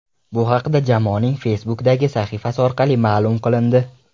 Bu haqda jamoaning Facebook’dagi sahifasi orqali ma’lum qilindi .